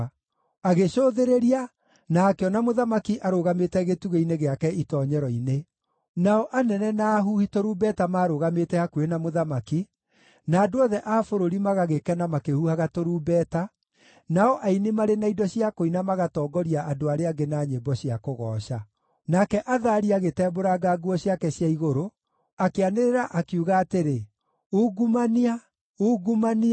Agĩcũthĩrĩria, na akĩona mũthamaki arũgamĩte gĩtugĩ-inĩ gĩake itoonyero-inĩ. Nao anene na ahuhi tũrumbeta marũgamĩte hakuhĩ na mũthamaki, na andũ othe a bũrũri magagĩkena makĩhuhaga tũrumbeta, nao aini marĩ na indo cia kũina magatongoria andũ arĩa angĩ na nyĩmbo cia kũgooca. Nake Athalia agĩtembũranga nguo ciake cia igũrũ, akĩanĩrĩra, akiuga atĩrĩ, “Ungumania! Ungumania!”